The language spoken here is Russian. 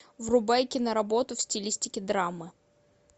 врубай киноработу в стилистике драма